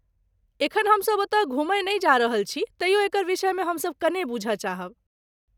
एखन हमसब ओतय घूमय नहि जा रहल छी तइयो एकर विषयमे हमसब कने बुझय चाहब।